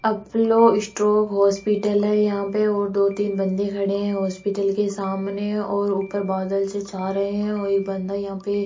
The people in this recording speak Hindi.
अपलो स्ट्रोक हॉस्पिटल है यहां पे और दो तीन बंदे खड़े हैं हॉस्पिटल के सामने और ऊपर बादल से छा रहे हैं और एक बंदा यहां पे --